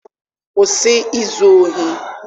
kwụsị izu ohi!